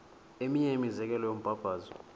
eminye imizekelo yombabazo